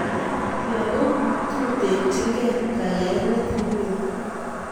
Lakok tutekchingei kayaenet ne mie